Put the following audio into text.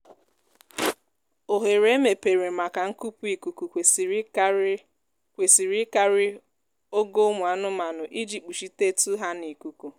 oghere emepere maka nkupu ikuku kwesịrị ịkarị kwesịrị ịkarị ogo ụmụ anụmanụ iji kpuchitetu ha n'ikuku